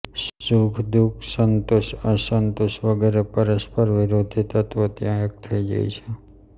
સુખદુઃખ સંતોષઅસંતોષ વગેરે પરસ્પર વિરોધી તત્વો ત્યાં એક થઈ જાય છે